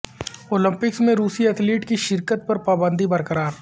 Olympics میں روسی athletes کی شرکت پر پابندی برقرار